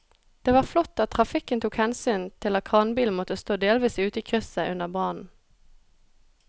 Det var flott at trafikken tok hensyn til at kranbilen måtte stå delvis ute i krysset under brannen.